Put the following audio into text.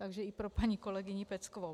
Takže i pro paní kolegyni Peckovou.